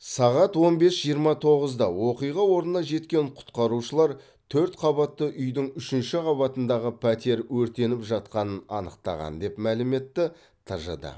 сағат он бес жиырма тоғызда оқиға орнына жеткен құтқарушылар төрт қабатты үйдің үшінші қабатындағы пәтер өртеніп жатқанын анықтаған деп мәлім етті тжд